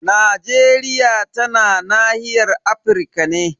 Najeriya tana nahiyar Afirka ne.